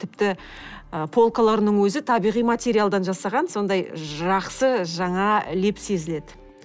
ы тіпті ы полкаларының өзі табиғи материалдан жасалған сондай жақсы жаңа леп сезіледі